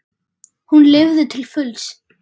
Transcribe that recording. Hún lifði til fulls.